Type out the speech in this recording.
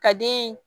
Ka den